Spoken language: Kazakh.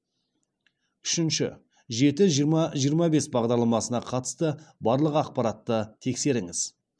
үшінші жеті жиырма жиырма бес бағдарламасына қатысты барлық ақпаратты тексеріңіз